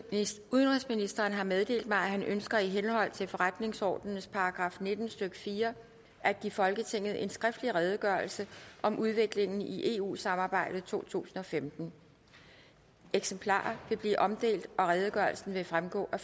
udenrigsministeren har meddelt mig at han ønsker i henhold til forretningsordenens § nitten stykke fire at give folketinget en skriftlig redegørelse om udviklingen i eu samarbejdet i totusinde og femtende eksemplarer vil blive omdelt og redegørelsen vil fremgå af